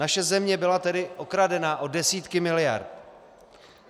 Naše země byla tedy okradena o desítky miliard.